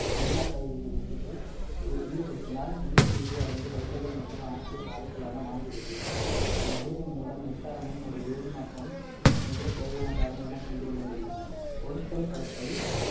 மின்னர் பகுதி விரிப்புக்கு ஈடு~ ஈடுபடுத்தினால் நீர்பிரிகை அடைந்து hydrogen மற்றும் oxygen வாயுக்களாக மாறுகிறது இந்நிகழ்வின் மூலம் மின்சாரமும் ஒரு வேதி மாற்றம் நிகழ தேவையான காரணி என புரிந்து கொள்ள முடியும் பொருட்கள் கடத்தல்